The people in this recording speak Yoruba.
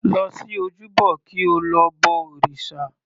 Lọ sí ojúbọ kí o lọ bọ òrìṣà.